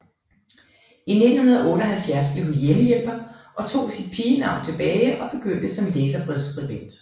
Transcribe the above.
I 1978 blev hun hjemmehjælper og tog sit pigenavn tilbage og begyndte som læserbrevsskribent